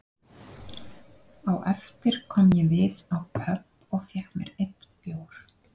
Á eftir kom ég við á pöbb og fékk mér einn bjór